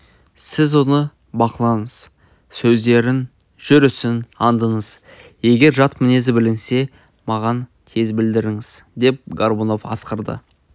сіз оны бақылаңыз сөздерін жүрісін аңдыңыз егер жат мінезі білінсе маған тез білдіріңіз деп горбунов асқарды